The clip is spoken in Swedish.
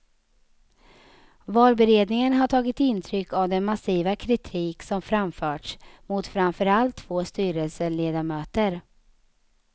Valberedningen har tagit intryck av den massiva kritik som framförts mot framför allt två styrelseledamöter.